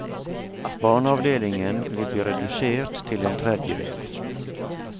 Barneavdelingen vil bli redusert til en tredjedel.